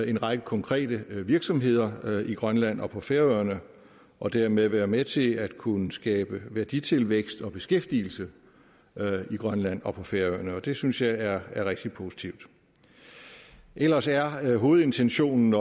en række konkrete virksomheder i grønland og på færøerne og dermed være med til at kunne skabe værditilvækst og beskæftigelse i grønland og på færøerne det synes jeg er rigtig positivt ellers er hovedintentionen